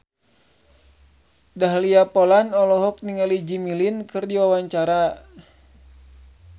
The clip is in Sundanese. Dahlia Poland olohok ningali Jimmy Lin keur diwawancara